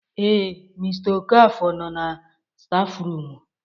Ee, mr okafor no na stafụrumu.